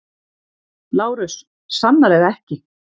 LÁRUS: Sannarlega ekki!